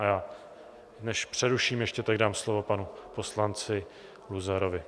A já, než přeruším ještě, tak dám slovo panu poslanci Luzarovi.